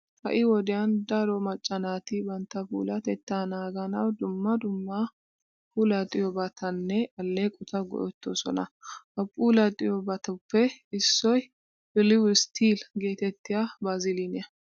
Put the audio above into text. Ha"i wodiyan daro macca naati bantta puulatettaa naaganawu dumma dumma puulaxxiyobatanne alleeqota go"ettoosona. Ha puulaxxiyobatuppe issoy biliwu still geetettiya baaziliiniya.